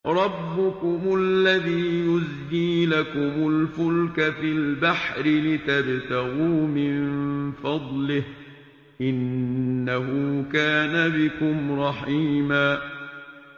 رَّبُّكُمُ الَّذِي يُزْجِي لَكُمُ الْفُلْكَ فِي الْبَحْرِ لِتَبْتَغُوا مِن فَضْلِهِ ۚ إِنَّهُ كَانَ بِكُمْ رَحِيمًا